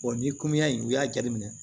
ni in u y'a jateminɛ